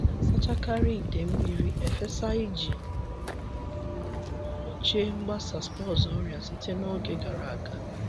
Anyị na-asachakarị ite mmiri efesa iji gbochie mgbasa spores ọrịa site n’oge gara aga.